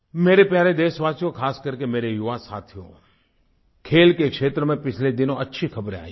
मेरे प्यारे देशवासियो खासकर के मेरे युवा साथियो खेल के क्षेत्र में पिछले दिनों अच्छी ख़बरें आई हैं